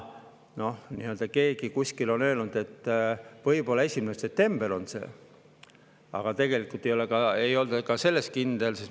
Keegi kuskil on öelnud, et võib-olla 1. september on see, aga tegelikult ei olda ka selles kindel.